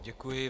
Děkuji.